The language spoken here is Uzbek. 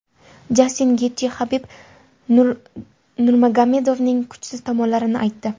Jastin Getji Habib Nurmagomedovning kuchsiz tomonlarini aytdi.